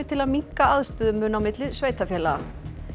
til að minnka aðstöðumun á milli sveitarfélaga